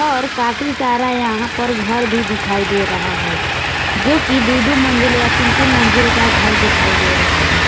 और काफी सारा यहां पर घर भी दिखाई दे रहा है जो की दो दो मंजिल या तीन तीन मंजिल का घर दिखाई दे रहा है।